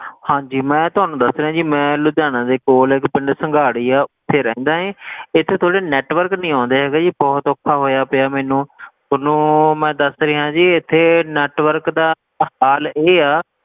ਹਾਂ ਜੀ ਮੈਂ ਤੁਹਾਨੂੰ ਦੱਸ ਰਿਹਾ ਲੁਧਿਆਣਾ ਦੇ ਕੋਲ ਇਕ ਪਿੰਡ ਸੰਘਾੜੀ ਆ ਉੱਥੇ ਰਹਿੰਦਾ ਹੈ ਇਥੇ ਤੁਹਾਡੇ network ਨਹੀਂ ਆਉਂਦਾ ਹੈਗੇ ਜੀ ਬਹੁਤ ਔਖਾ ਹੋਇਆ ਪਿਆ ਮੈਨੂੰ ਥੋਨੂੰ ਮੈਂ ਦੱਸ ਰਿਹਾ ਜੀ ਇੱਥੇ network ਦਾ ਆਹ ਹਾਲ ਇਹ ਆ,